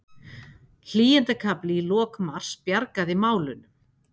Hlýindakafli í lok mars bjargaði málunum